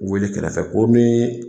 Wele kɛrɛfɛ ko nin